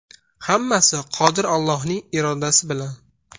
Hammasi Qodir Allohning irodasi bilan!